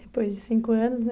Depois de cinco anos, né?